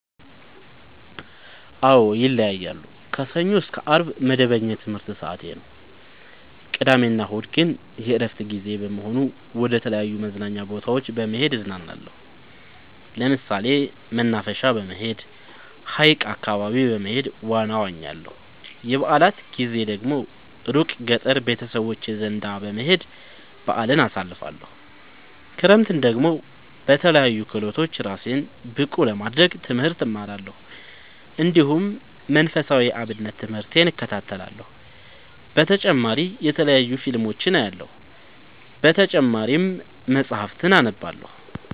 አዎ ይለያያለሉ። ከሰኞ እስከ አርብ መደበኛ የትምህርት ሰዓቴ ነው። ቅዳሜ እና እሁድ ግን የእረፍት ጊዜ በመሆኑ መደተለያዩ መዝናኛ ቦታዎች በመሄድ እዝናናለሁ። ለምሳሌ መናፈሻ በመሄድ። ሀይቅ አካባቢ በመሄድ ዋና እዋኛለሁ። የበአላት ጊዜ ደግሞ እሩቅ ገጠር ቤተሰቦቼ ዘንዳ በመሄድ በአልን አሳልፍለሁ። ክረምትን ደግሞ በለያዩ ክህሎቶች እራሴን ብቀሐ ለማድረግ ትምህርት እማራለሁ። እንዲሁ መንፈሳዊ የአብነት ትምህርቴን እከታተላለሁ። በተጨማሪ የተለያዩ ፊልሞችን አያለሁ። በተጨማሪም መፀሀፍትን አነባለሁ።